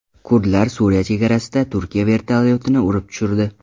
Kurdlar Suriya chegarasida Turkiya vertolyotini urib tushirdi.